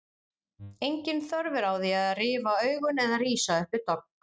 Engin þörf er á því að rifa augun eða rísa upp við dogg.